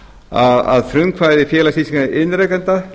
fimm að frumkvæði félags íslenskra iðnrekenda